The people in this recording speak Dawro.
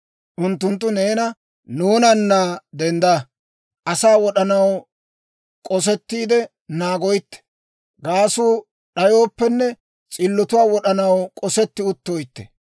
Unttunttu neena, «Nuunana dendda; asaa wod'anaw k'osettiide naagoytte; gaasuu d'ayooppenne s'illotuwaa wod'anaw k'osetti uttoytte;